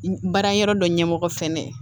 Baara yɔrɔ dɔ ɲɛmɔgɔ fɛnɛ ye